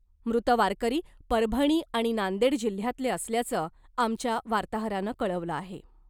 मृत वारकरी परभणी आणि नांदेड जिल्हयातले असल्याचं आमच्या वार्ताहरानं कळवलं आहे .